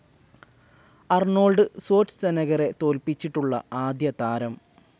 Arnold സ്വാറ്റ്സെനഗറെ തോൽപ്പിച്ചിട്ടുള്ള ആദ്യതാരം